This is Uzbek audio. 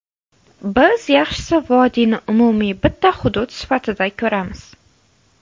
Biz yaxshisi vodiyni umumiy bitta hudud sifatida ko‘ramiz.